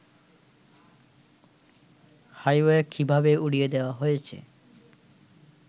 highway কিভাবে উড়িয়ে দেয়া হয়েছে